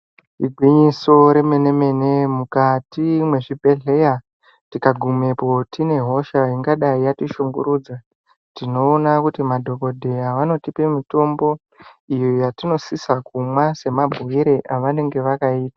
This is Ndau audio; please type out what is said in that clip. Igwinyiso remene-mene, mukati mwezvibhedhlera tikagumepo tine hosha ingadai yatishungurudza tinoona kuti madhogodheya vanotipe mutombo iyo yatinosise kumwa semabhuire evanenge vakaita.